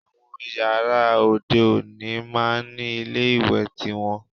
Àwọn yàrá òde òní máá ń ní ilé ìwẹ̀ tiwọn